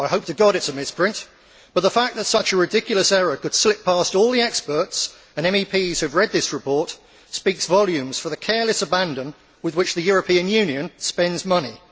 I hope to God it is a misprint, but the fact that such a ridiculous error could slip past all the experts and MEPs who have read this report speaks volumes for the careless abandon with which the European Union spends money.